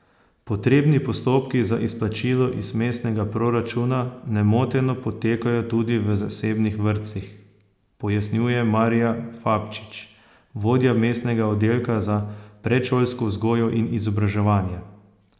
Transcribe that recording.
Potrebni postopki za izplačilo iz mestnega proračuna nemoteno potekajo tudi v zasebnih vrtcih, pojasnjuje Marija Fabčič, vodja mestnega oddelka za predšolsko vzgojo in izobraževanje.